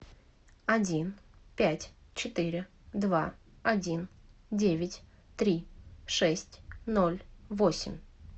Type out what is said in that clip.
один пять четыре два один девять три шесть ноль восемь